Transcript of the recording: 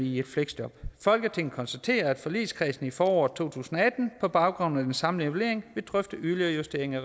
i et fleksjob folketinget konstaterer at forligskredsen i foråret to tusind og atten på baggrund af den samlede evaluering vil drøfte yderligere justeringer